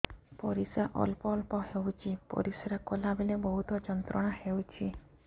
ପରିଶ୍ରା ଅଳ୍ପ ଅଳ୍ପ ହେଉଛି ପରିଶ୍ରା କଲା ବେଳେ ବହୁତ ଯନ୍ତ୍ରଣା ହେଉଛି